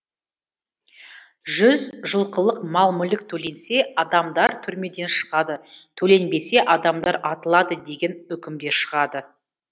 жұз жылқылық мал мүлік төленсе адамдар түрмеден шығады төленбесе адамдар атылады деген үкімде шығады